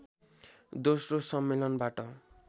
दोस्रो सम्मेलनबाट